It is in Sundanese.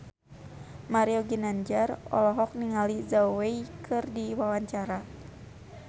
Mario Ginanjar olohok ningali Zhao Wei keur diwawancara